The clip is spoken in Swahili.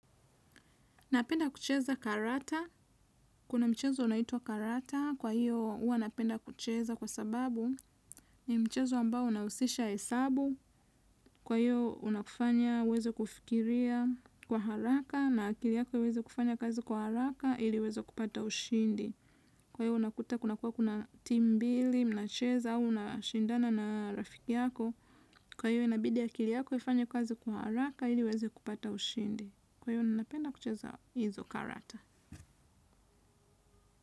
Napenda kucheza karata. Kuna mchezo unaitua karata. Kwa hiyo, hua napenda kucheza kwa sababu ni mchezo ambao unahusisha hesabu. Kwa hiyo, unakufanya uweze kufikiria kwa haraka na akili yako iweze kufanya kazi kwa haraka ili uweze kupata ushindi. Kwa hiyo, unakuta kuna kuwa kuna team mbili, mnacheza, unashindana na rafiki yako. Kwa hiyo, inabidi akili yako ifanye kazi kwa haraka ili uweze kupata ushindi. Kwa hiyo, ninapenda kucheza hizo karata.